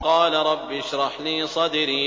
قَالَ رَبِّ اشْرَحْ لِي صَدْرِي